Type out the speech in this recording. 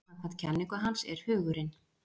samkvæmt kenningu hans er hugurinn